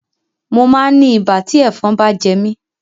Mo máa ń ní ibà tí ẹ̀fọn bá jẹ mí.